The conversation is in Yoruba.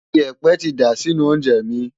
Ìyẹ̀pẹ̀ ti dà sínú oúnjẹ mi.